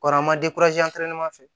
Kɔrɔ an ma fɛ